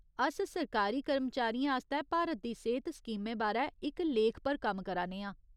अस सरकारी कर्मचारियें आस्तै भारत दी सेह्त स्कीमें बारै इक लेख पर कम्म करा ने आं।